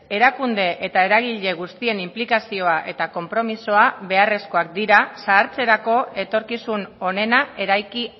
erakunde eta eragile guztien inplikazioa eta konpromisoa beharrezkoak dira zahartzerako etorkizun onena eraiki